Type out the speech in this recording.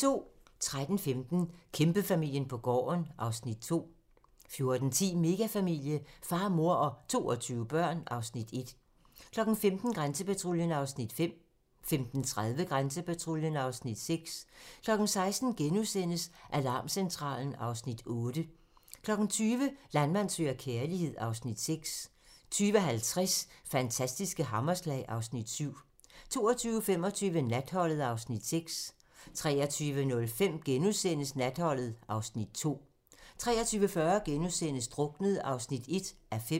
13:15: Kæmpefamilien på gården (Afs. 2) 14:10: Megafamilie - far, mor og 22 børn (Afs. 1) 15:00: Grænsepatruljen (Afs. 5) 15:30: Grænsepatruljen (Afs. 6) 16:00: Alarmcentralen (Afs. 8)* 20:00: Landmand søger kærlighed (Afs. 6) 20:50: Fantastiske hammerslag (Afs. 7) 22:25: Natholdet (Afs. 6) 23:05: Natholdet (Afs. 2)* 23:40: Druknet (1:5)*